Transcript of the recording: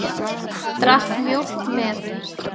Drakk mjólk með.